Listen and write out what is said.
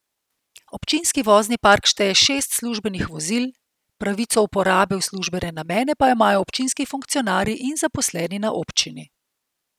Občinski vozni park šteje šest službenih vozil, pravico uporabe v službene namene pa imajo občinski funkcionarji in zaposleni na občini.